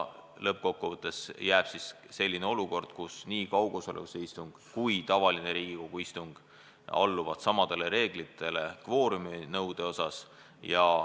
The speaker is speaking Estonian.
Lõppkokkuvõttes jääb selline olukord, kus nii kaugosalusega istung kui ka tavaline Riigikogu istung alluvad kvooruminõude poolest samadele reeglitele.